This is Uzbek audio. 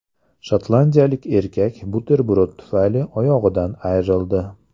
Shotlandiyalik erkak buterbrod tufayli oyog‘idan ayrildi.